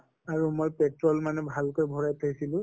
আৰু মই petrol মানে ভাল কৈ ভৰাই থৈছিলো